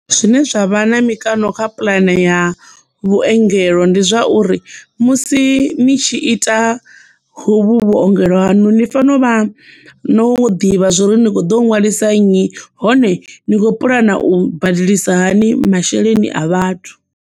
Zwine zwa vha na mikano kha puḽane ya vhuengelo ndi zwauri musi ni tshi ita hovhu vhuongelo hanu ni fanela u vha no ḓivha zwori ni kho ḓo ṅwalisa nnyi hone ni khou puḽana u badelisa hani masheleni a vhathu.